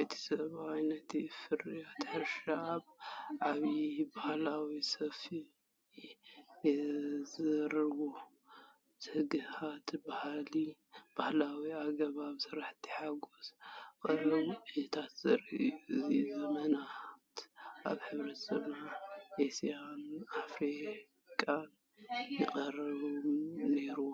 እቲ ሰብኣይ ነቲ ፍርያት ሕርሻ ኣብ ዓብይ ባህላዊ ሰፍኢ የዝሩዎ። ትግሃትን ባህላዊ ኣገባብ ስራሕን ሓጎስ ቀውዒን ዘርኢ እዩ። እዚ ንዘመናት ኣብ ሕብረተሰባት ኤስያን ኣፍሪቃን ይጥቀሙሉ ነይሮም።